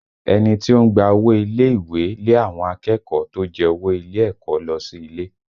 Ẹni tó ń gba owó ilé ìwé lé àwọn akẹ́kọ̀ọ́ tó jẹ owó ilé ẹ̀kọ́ lọ sí ilé